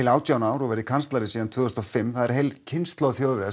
átján ár og verið kanslari síðan tvö þúsund og fimm heil kynslóð Þjóðverja